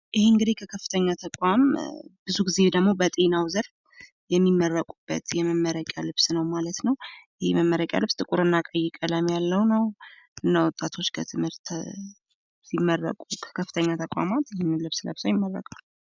ይህ እንግዲህ ከከፍተኛ ተቋም በዙ ጊዜ ደግሞ በጤናዉ ዘርፍ የሚመረቁበት የመመረቂያ ልብስ ነዉ ማለት ነዉ። ይህ መመረቂያ ልብስ ጥቁር እና ቀይ ቀለም ያለዉ ነዉ። እና ወጣቶች ከከፍተኛ ተቋም ሲመረቁ ይህንን ለብሰዉ ይመረቃሉ።